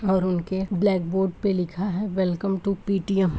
और उनके ब्लैकबोर्ड पे लिखा है वेलकम टू पी.टी.एम. ।